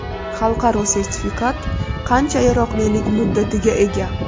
Xalqaro sertifikat qancha yaroqlilik muddatiga ega?